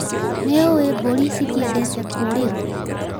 Nĩũĩ mburi citiendete kurĩrũo.